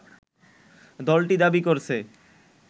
দলটি দাবি করেছে